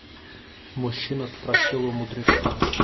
мужчина спросил у мудреца